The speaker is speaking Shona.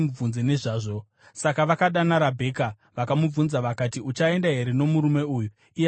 Saka vakadana Rabheka vakamubvunza vakati, “Uchaenda here nomurume uyu?” Iye akati, “Ndichaenda.”